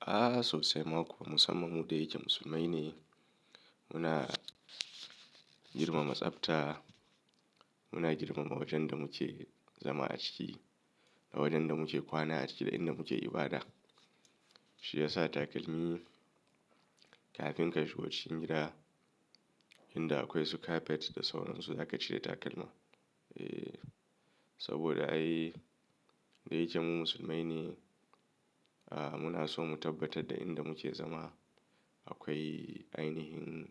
A sosai ma kuwa musamman mu da yake musulmai ne. Muna girmama tsafta, muna girmama wajen da muke zama a ciki da wajen da muke kwana a ciki da inda muke ibada. Shi ya sa takalmi kafin ka shigo cikin gida inda akwai su carpet da sauransu za ka cire takalma. Saboda ai da yake mu musulmai ne, muna sonmu tabbatar da inda muke zama akwai ainihin